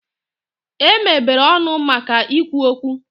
E mebere ọnụ maka ikwu okwu.